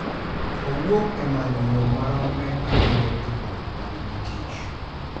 Owuok e manyo yo maromre ma jiwo tudruok ma nigi tich